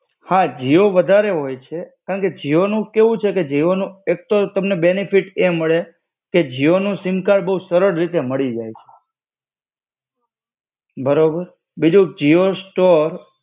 હા જીઓ વધારે હોય છે, કારણકે જીઓ નું કેવું છે કે જીઓનું એક તો બેનેફિટ એ મળે કે જીઓ નું સિમ કાર્ડ બો સરળ રીતે મળી જાય. બરોબર, બીજું જીઓ સ્ટોર